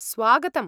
स्वागतम्!